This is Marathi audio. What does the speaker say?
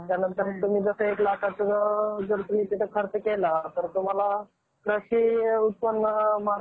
आणि या राज्याची लोकसंख्या जवळजवळ अकरा कोटी इतकी आहे. तसेच,